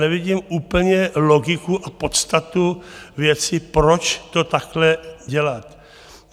Nevidím úplně logiku a podstatu věci, proč to takhle dělat.